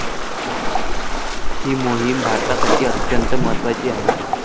ही मोहिम भारतासाठी अत्यंत महत्वाची आहे.